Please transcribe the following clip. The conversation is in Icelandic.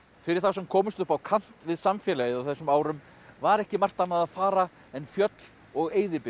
fyrir þá sem komust upp á kant við samfélagið á þessum árum var ekki margt annað að fara en fjöll og